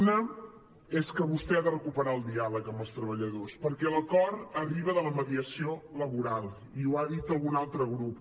un és que vostè ha de recuperar el diàleg amb els treballadors perquè l’acord arriba de la mediació laboral i ho ha dit algun altre grup